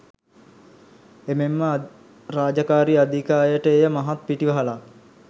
එමෙන්ම රාජකාරී අධික අයට එය මහත් පිටිවහලක්.